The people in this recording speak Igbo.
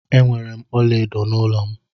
Enwere m ọla edo n'ụlọ m.